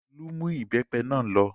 Olú mú ìbẹ́pẹ náà lọ.